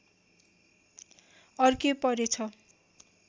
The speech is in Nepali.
अर्के परेछ